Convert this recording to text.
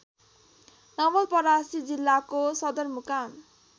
नवलपरासी जिल्लाको सदरमुकाम